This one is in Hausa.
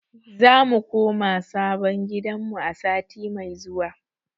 Za mu koma sabon gidanmu a sati mai zuwa.